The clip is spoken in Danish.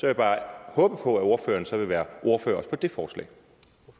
jeg bare håbe på at ordføreren så vil være ordfører